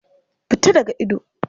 Fita daga ido!